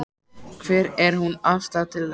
Hver er þín afstaða til þess?